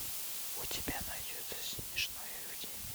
у тебя найдется смешное время